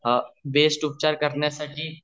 best उपचार करण्यासाठी